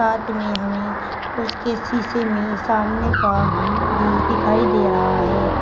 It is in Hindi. साथ में हमें उसके शीशे में सामने का भी दिखाई दे रहा है।